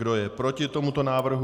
Kdo je proti tomuto návrhu?